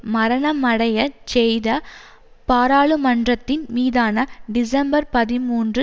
மரணமடையச் செய்த பாராளுமன்றத்தின் மீதான டிசம்பர்பதிமூன்று